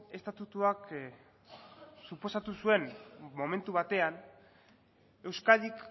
estatutuak suposatu zuen momentu batean euskadik